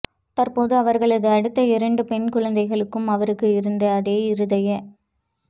தற்போது அவர்களது அடுத்த இரண்டு பெண் குழந்தைகளுக்கும் அவருக்கு இருந்த அதே இருதய